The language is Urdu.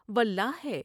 واللہ ہے ۔